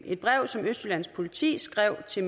et brev som østjyllands politi skrev til